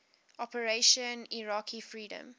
operation iraqi freedom